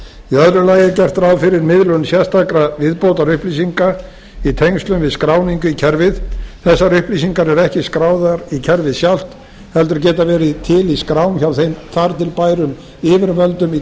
lagi er gert ráð fyrir miðlun sérstakra viðbótarupplýsinga í tengslum við skráningu í kerfið þessar upplýsingar eru ekki skráðar í kerfið sjálft heldur geta verið til í skrám hjá þar til bærum yfirvöldum í